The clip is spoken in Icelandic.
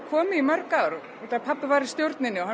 komið í mörg ár því pabbi var í stjórninni og